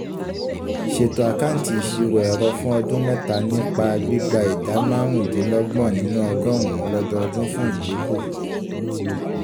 ṣètò àkáǹtì ìṣirò ẹrọ fún ọdún mẹ́ta nípa gbígba ìdá márùndínlọ́gbọ̀n nínú ọgọ́rùn-ún lọ́dọọdún fún ìdínkù